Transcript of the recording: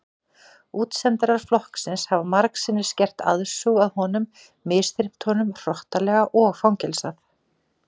Útsendarar flokksins hafa margsinnis gert aðsúg að honum misþyrmt honum hrottalega og fangelsað.